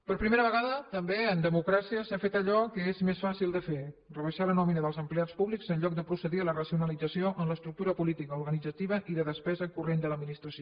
per primera vegada també en democràcia s’ha fet allò que és més fàcil de fer rebaixar la nòmina dels em pleats públics en lloc de procedir a la racionalització en l’estructura política organitzativa i de despesa corrent de l’administració